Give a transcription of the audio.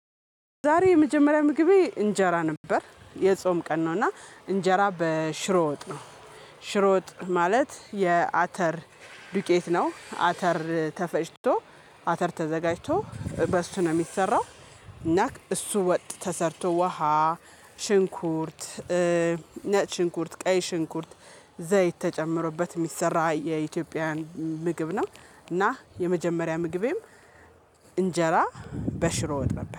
ዛሬ የመጀመሪያ ምግቤ እንጀራ ነበር የጾም ቀን ነው እና እንጀራ በሽሮ ወጥ ነው። ሽሮ ወጥ ማለት የአተር ዱቄት ነው። አተር ተፈጭቶ አተር ተዘጋጅቶ በሱ ነው የሚሰራው። እና እሱ ወጥ ተሰርቶ ውሃ ሽንኩርት ነጭንኩርት ቀይ ሽንኩርት ዘይት ተጨምሮበት የሚሰራ የኢትዮጵያን ምግብ ነው። እና የመጀመሪያ ምግቤም እንጀራ በሽሮ ወጥ ነበር